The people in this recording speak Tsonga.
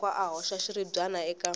loko a hoxa xiribyana eka